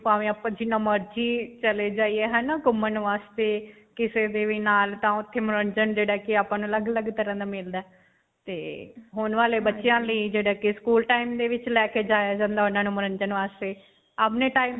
ਭਾਂਵੇ ਆਪਾਂ ਜਿੰਨਾ ਮਰਜੀ ਚਲੇ ਜਾਈਏ, ਹੈ ਨਾ. ਘੁਮੰਣ ਵਾਸਤੇ ਕਿਸੇ ਦੇ ਵੀ ਨਾਲ ਤਾਂ ਓੱਥੇ ਮਨੋਰੰਜਨ ਜਿਹੜਾ ਹੈ ਕ ਆਪਾਂ ਨੂੰ ਅਲੱਗ-ਅਲੱਗ ਤਰ੍ਹਾਂ ਦਾ ਮਿਲਦਾ ਹੈ. ਤੇ ਹੁਣ ਵਾਲੇ ਬੱਚਿਆਂ ਲਈ ਜਿਹੜਾ ਕਿ school time ਦੇ ਵਿੱਚ ਲੈ ਕੇ ਜਾਇਆ ਜਾਂਦਾ ਉਨ੍ਹਾਂ ਨੂੰ ਮਨੋਰੰਜਨ ਵਾਸਤੇ. ਆਪਣੇ time .